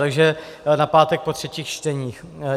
Takže na pátek po třetích čteních.